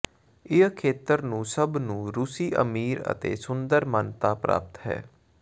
ਇਹ ਖੇਤਰ ਨੂੰ ਸਭ ਨੂੰ ਰੂਸੀ ਅਮੀਰ ਅਤੇ ਸੁੰਦਰ ਮਾਨਤਾ ਪ੍ਰਾਪਤ ਹੈ